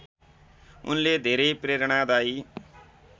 उनले धेरै प्रेरणादायी